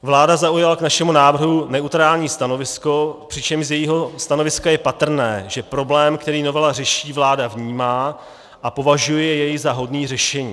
Vláda zaujala k našemu návrhu neutrální stanovisko, přičemž z jejího stanoviska je patrné, že problém, který novela řeší, vláda vnímá a považuje jej za hodný řešení.